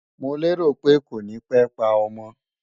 Mo lérò pé kò ní pé pa ọmọ